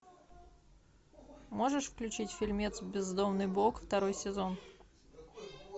можешь включить фильмец бездомный бог второй сезон